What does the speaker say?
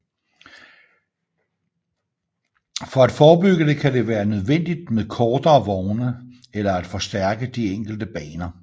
For at forebygge det kan det være nødvendigt med kortere vogne eller at forstærke de enkelte baner